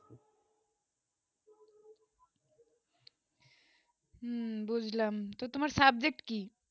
উম বুঝলাম তো তোমার subject কি